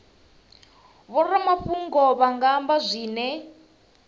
vhoramafhungo vha nga amba zwine